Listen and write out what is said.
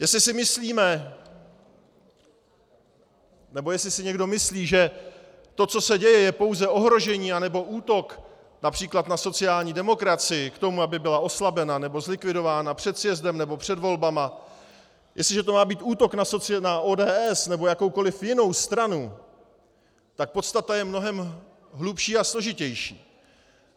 Jestli si myslíme, nebo jestli si někdo myslí, že to, co se děje, je pouze ohrožení nebo útok například na sociální demokracii k tomu, aby byla oslabena nebo zlikvidována před sjezdem nebo před volbami, jestliže to má být útok na ODS nebo jakoukoliv jinou stranu, tak podstata je mnohem hlubší a složitější.